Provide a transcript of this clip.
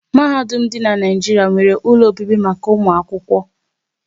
Mahadum dị n'Naijiria nwéré ụlọ obibi maka ụmụ akwụkwọ